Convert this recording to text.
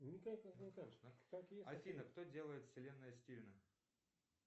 афина кто делает вселенная стивена